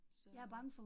Så